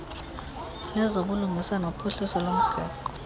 lezobulungisa nophuhliso lomgaqo